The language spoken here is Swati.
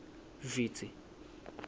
vitsi